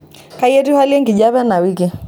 kai etiu hali enkijape ena wiki